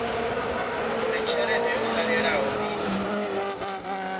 uri tshelede yo salelaho i